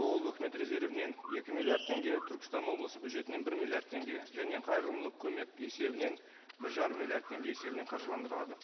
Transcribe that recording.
ол үкімет резервінен екі миллиард теңге түркістан облысы бюджетінен бір миллиард теңге және қайырымдылық көмек есебінен бір жарым миллиард теңге есебінен қаржыландырылады